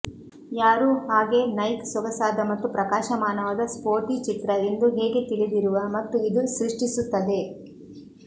ಯಾರೂ ಹಾಗೆ ನೈಕ್ ಸೊಗಸಾದ ಮತ್ತು ಪ್ರಕಾಶಮಾನವಾದ ಸ್ಪೋರ್ಟಿ ಚಿತ್ರ ಎಂದು ಹೇಗೆ ತಿಳಿದಿರುವ ಮತ್ತು ಇದು ಸೃಷ್ಟಿಸುತ್ತದೆ